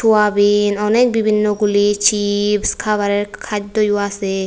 Soybean অনেক বিভিন্ন গুলি চিপস খাবারের খাদ্য আছে।